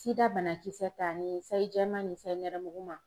SIDA banakisɛ ta ni sayi jɛman ni sayi nɛrɛmuguma.